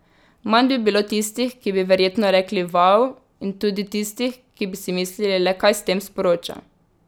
Manj bi bilo tistih, ki bi verjetno rekli vau in tudi tistih, ki bi si mislili, le kaj s tem sporoča.